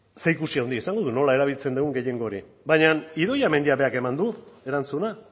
zerikusi handia izango du nola erabiltzen dugun gehiengo hori baina idoia mendiak berak eman du erantzuna